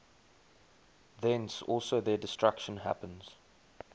thence also their destruction happens